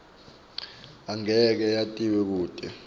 angeke yatiswe kute